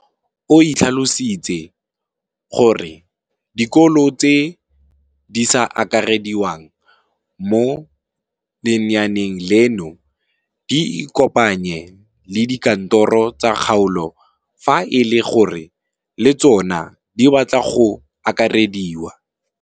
O tlhalositse gore dikolo tse di sa akarediwang mo lenaaneng leno di ikopanye le dikantoro tsa kgaolo fa e le gore le tsona di batla go akarediwa.